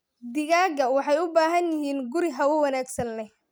Digaagga waxay u baahan yihiin guri hawo wanaagsan leh.